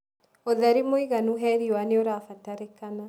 ũtheri mũiganu wa riũa nĩũrabatarĩkana.